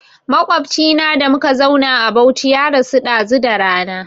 Maƙwabcina da muka zauna a Bauchi ya rasu ɗazu da rana